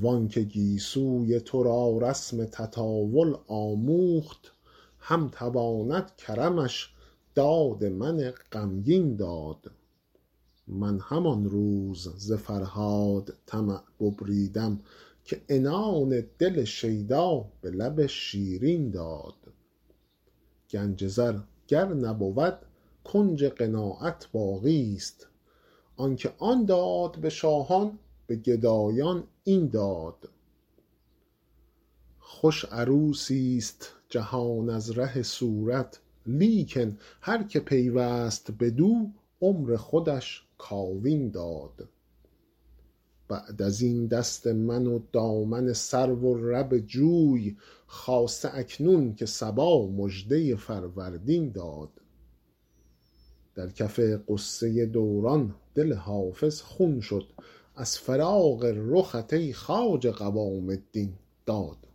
وان که گیسوی تو را رسم تطاول آموخت هم تواند کرمش داد من غمگین داد من همان روز ز فرهاد طمع ببریدم که عنان دل شیدا به لب شیرین داد گنج زر گر نبود کنج قناعت باقیست آن که آن داد به شاهان به گدایان این داد خوش عروسیست جهان از ره صورت لیکن هر که پیوست بدو عمر خودش کاوین داد بعد از این دست من و دامن سرو و لب جوی خاصه اکنون که صبا مژده فروردین داد در کف غصه دوران دل حافظ خون شد از فراق رخت ای خواجه قوام الدین داد